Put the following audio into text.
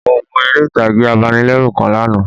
Mo wo eré ìtàgé abanilérù kan lánàá